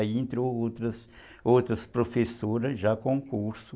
Aí entrou outras outras professoras já com curso.